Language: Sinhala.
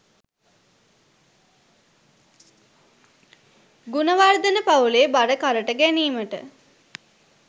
ගුණවර්ධන පවුලේ බර කරට ගැනීමට